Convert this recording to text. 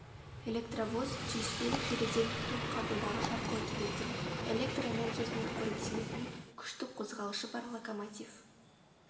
электровоз түйіспелік желіден ток қабылдағыш арқылы келетін электр энергиясымен қоректенетін күштік қозғалтқышы бар локомотив